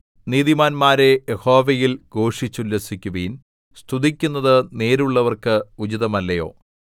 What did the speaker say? നീതിമാന്മാരേ യഹോവയിൽ ഘോഷിച്ചുല്ലസിക്കുവിൻ സ്തുതിക്കുന്നത് നേരുള്ളവർക്ക് ഉചിതമല്ലയോ